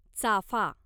चाफा